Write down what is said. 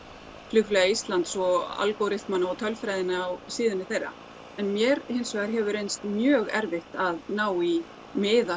Flugélagi Íslands og algoryþmann og tölfræðina á síðunni þeirra en mér hins vegar hefur reynst mjög erfitt að ná í miða